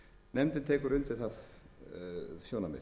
nefndin tekur undir það sjónarmið